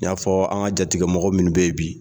N y'a fɔ an jatigɛ mɔgɔ minnu bɛ yen bi